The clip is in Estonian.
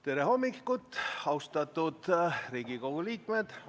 Tere hommikust, austatud Riigikogu liikmed!